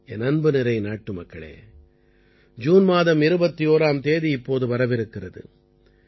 என் அன்புநிறை நாட்டுமக்களே ஜூன் மாதம் 21ஆம் தேதி இப்போது வரவிருக்கிறது